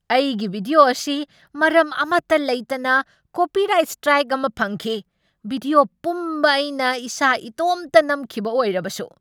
ꯑꯩꯒꯤ ꯚꯤꯗ꯭ꯌꯣ ꯑꯁꯤ ꯃꯔꯝ ꯑꯃꯇ ꯂꯩꯇꯅ ꯀꯣꯄꯤꯔꯥꯏꯠ ꯁꯇ꯭ꯔꯥꯏꯛ ꯑꯃ ꯐꯪꯈꯤ꯫ ꯚꯤꯗ꯭ꯌꯣ ꯄꯨꯝꯕ ꯑꯩꯅ ꯏꯁꯥ ꯏꯇꯣꯝꯇ ꯅꯝꯈꯤꯕ ꯑꯣꯏꯔꯕꯁꯨ꯫